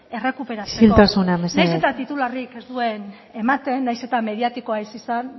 errekuperatzeko isiltasuna mesedez nahiz eta titularrik ez duen ematen nahiz eta mediatikoa ez izan